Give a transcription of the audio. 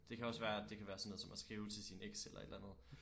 Det kan også være det kan være sådan noget som at skrive til sin eks eller et eller andet